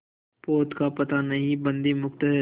पोत का पता नहीं बंदी मुक्त हैं